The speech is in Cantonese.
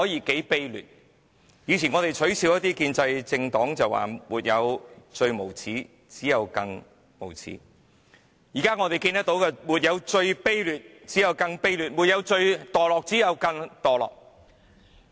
我們以前取笑建制派政黨時說"沒有最無耻，只有更無耻"，但現我們看到的卻是"沒有最卑劣，只有更卑劣；沒有最墮落，只有更墮落"。